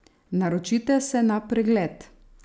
Naročite se na pregled!